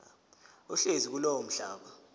ohlezi kulowo mhlaba